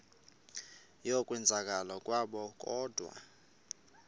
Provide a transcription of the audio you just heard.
yokwenzakala kwabo kodwa